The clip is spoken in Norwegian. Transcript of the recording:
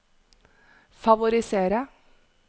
favorisere